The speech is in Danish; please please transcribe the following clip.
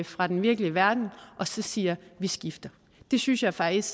fra den virkelige verden og så siger vi skifter det synes jeg faktisk